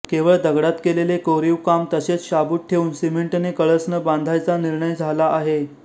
केवळ दगडात केलेले कोरीव काम तसेच शाबूत ठेवून सिमेंटने कळस न बांधायचा निर्णय झाला आहे